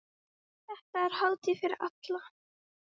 Þetta er hátíð fyrir alla.